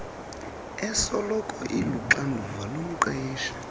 esoloko iluxanduva lomqeshi